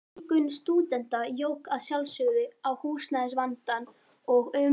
Fjölgun stúdenta jók að sjálfsögðu á húsnæðisvandann og um